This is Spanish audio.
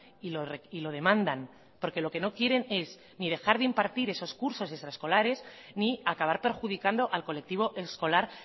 y lo demandan porque lo que no quieren es ni dejar de impartir esos cursos de extraescolares ni acabar perjudicando al colectivo escolar